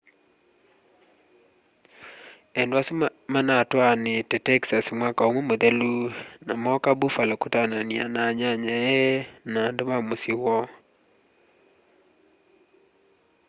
endwa asu manatwaanite texas mwaka umwe muthelu na mooka buffalo kutaanania na anyanyae na andu ma musyi woo